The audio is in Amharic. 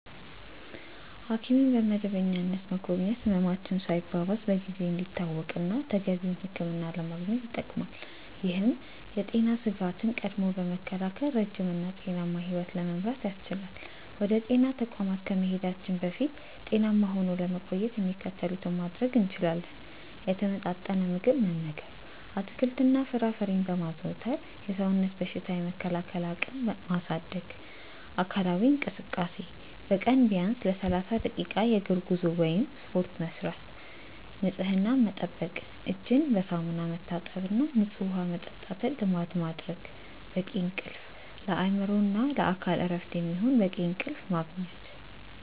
ሐኪምን በመደበኛነት መጎብኘት ህመማችን ሳይባባስ በጊዜ እንዲታወቅና ተገቢውን ሕክምና ለማግኘት ይጠቅማል። ይህም የጤና ስጋትን ቀድሞ በመከላከል ረጅም እና ጤናማ ሕይወት ለመምራት ያስችላል። ወደ ጤና ተቋማት ከመሄዳችን በፊት ጤናማ ሆኖ ለመቆየት የሚከተሉትን ማድረግ እንችላለን፦ የተመጣጠነ ምግብ መመገብ፦ አትክልትና ፍራፍሬን በማዘውተር የሰውነትን በሽታ የመከላከል አቅም ማሳደግ። አካላዊ እንቅስቃሴ፦ በቀን ቢያንስ ለ30 ደቂቃ የእግር ጉዞ ወይም ስፖርት መስራት። ንፅህናን መጠበቅ፦ እጅን በሳሙና መታጠብና ንፁህ ውሃ መጠጣትን ልማድ ማድረግ። በቂ እንቅልፍ፦ ለአእምሮና ለአካል እረፍት የሚሆን በቂ እንቅልፍ ማግኘት።